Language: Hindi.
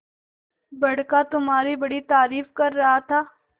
बड़का तुम्हारी बड़ी तारीफ कर रहा था